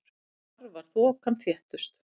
Þar var þokan þéttust.